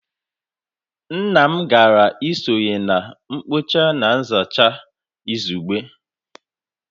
Nna m gara isonye na mkpocha na nzacha izugbe